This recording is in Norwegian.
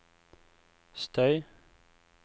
støy